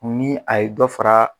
Ni a ye dɔ fara.